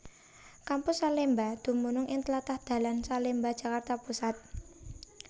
Kampus Salemba dumunung ing tlatah dalan Salemba Jakarta Pusat